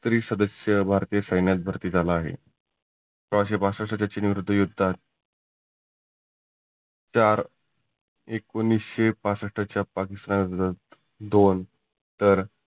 तरी सदस्य भारतीय सैन्यात भरती झाला आहे. सोळाशे पाशष्ठ भारत चीन युद्धात चार एकोनिसशे पासष्ठच्या पाकिस्तान युद्धात दोन तर